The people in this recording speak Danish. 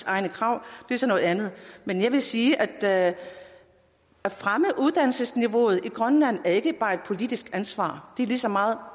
egne krav er så noget andet men jeg vil sige at det at fremme uddannelsesniveauet i grønland ikke bare er et politisk ansvar det er lige så meget